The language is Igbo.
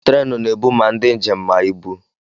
Tréénù na-ébú mà ndị njém mà ibú.